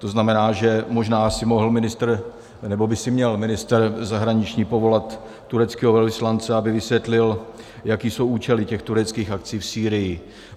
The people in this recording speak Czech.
To znamená, že možná si mohl ministr, nebo by si měl ministr zahraničí povolat tureckého velvyslance, aby vysvětlil, jaké jsou účely těch tureckých akcí v Sýrii.